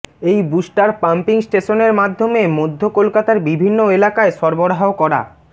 এই booster pumping স্টেশনের মাধ্যমে মধ্য কলকাতার বিভিন্ন এলাকায় সরবরাহ করা